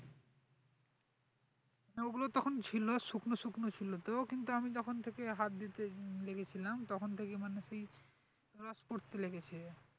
ওগুলো তখন ছিল শুকনো শুকনো ছিল তো কিন্তু আমি যখন থেকে হাত দিতে লেগে ছিলাম তখন থেকেই মানে সেই রস পড়তে লেগেছে